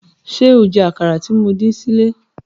Ṣé o jẹ àkàrà tí mo dín sílẹ̀?